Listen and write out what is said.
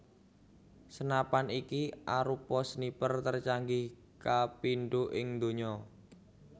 Senapan iki arupa sniper tercanggih kapindo ing dunya